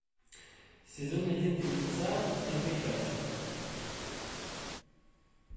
сезон один фильмеца ты прекрасен